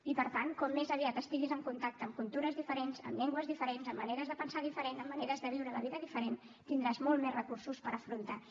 i per tant com més estiguis en contacte amb cultures diferents amb llengües diferents amb maneres de pensar diferents amb maneres de viure la vida diferents tindràs molts més recursos per afrontar ho